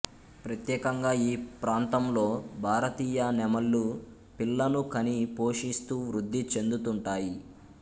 ప్రత్యేకంగా ఈ ప్రాంతంలో భారతీయ నెమళ్ళు పిల్లను కని పోషిస్తూ వృద్ధి చెందుతుంటాయి